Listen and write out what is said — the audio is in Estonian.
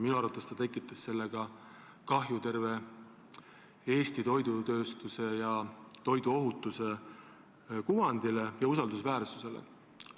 Minu arvates ta tekitas sellega kahju terve Eesti toidutööstuse ja toiduohutuse kuvandile ja usaldusväärsusele.